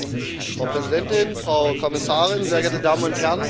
Frau Präsidentin, Frau Kommissarin, sehr geehrte Damen und Herren!